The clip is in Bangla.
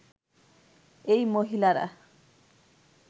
এই মহিলারা